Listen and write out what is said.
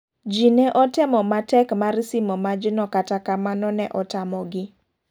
Ji ne otemo matek mar simo majno kata kamano ne otamo gi.